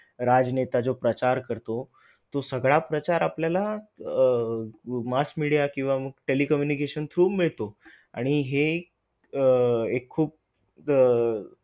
घरी गोठे आणि डोह्यांचे.